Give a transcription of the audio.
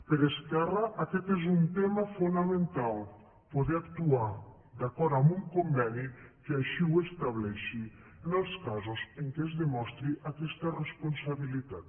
per esquerra aquest és un tema fonamental poder actuar d’acord amb un conveni que així ho estableixi en els casos en què es demostri aquesta responsabilitat